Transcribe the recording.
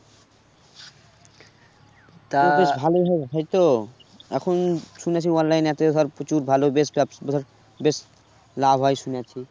ভালোই হয়~ হয় তো এখন শুনেছি online app এ এতই ধর প্রচুর ভালো best apps ধর বেশ লাভ হয় শুনেছি